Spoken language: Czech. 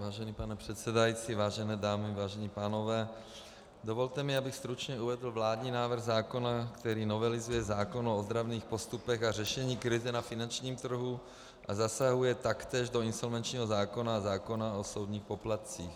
Vážený pane předsedající, vážené dámy, vážení pánové, dovolte mi, abych stručně uvedl vládní návrh zákona, který novelizuje zákon o ozdravných postupech a řešení krize na finančním trhu a zasahuje taktéž do insolvenčního zákona a zákona o soudních poplatcích.